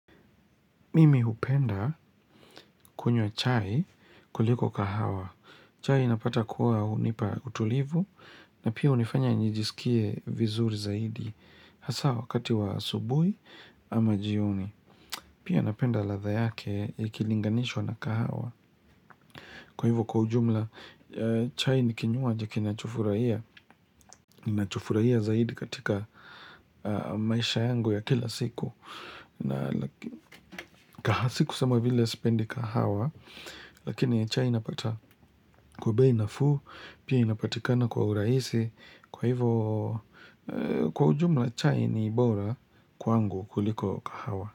Mimi hupenda kunywa chai kuliko kahawa. Chai napata kuwa hunipa utulivu na pia hunifanya nijisikie vizuri zaidi. Hasa wakati wa asubui ama jioni. Pia napenda ladha yake ikilinganishwa na kahawa. Kwa hivo kwa ujumla, chai ni kinywaji kinachofurahia. Ninachofurahia zaidi katika maisha yangu ya kila siku. Na kaha si kusema vile spendi kahawa Lakini chai inapata kwa bei nafuu Pia inapatikana kwa uraisi Kwa hivo kwa ujumla chai ni bora kwangu kuliko kahawa.